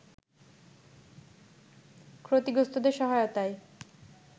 ক্ষতিগ্রস্তদের সহায়তায়